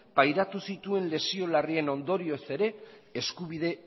pairatu zituen lesio larrien ondorioz ere eskubide